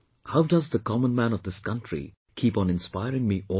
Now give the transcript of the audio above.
How the common man of this country keeps on inspring me all the time